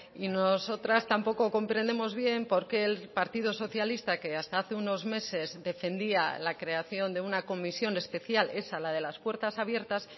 y nosotras tampoco comprendemos bien por qué el partido socialista que hasta hace unos meses defendía la creación de una comisión especial esa la de las puertas abiertas